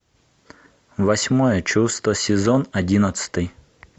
восьмое чувство сезон одиннадцатый